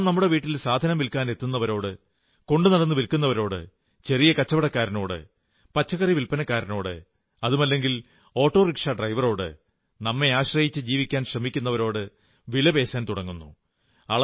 നാം നമ്മുടെ വീട്ടിൽ സാധനം വില്ക്കാനെത്തുന്നരോട് കൊണ്ടുനടന്നു വിൽക്കുന്നവരോട് ചെറിയ കടക്കാരനോട് പച്ചക്കറി വില്പനക്കാരോട് അതുമല്ലെങ്കിൽ ഓട്ടോ റിക്ഷാക്കാരോട് നമ്മെ ആശ്രയിച്ചു ജീവിക്കാൻ ശ്രമിക്കുന്നവരോട് വിലപേശാൻ തുടങ്ങുന്നു